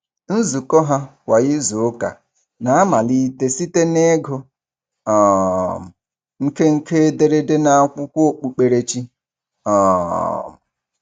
Nzukọ ha kwa izuụka na-amalite site n'ịgụ um nkenke ederede n'akwụkwọ okpukperechi. um